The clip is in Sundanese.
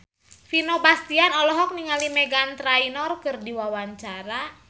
Vino Bastian olohok ningali Meghan Trainor keur diwawancara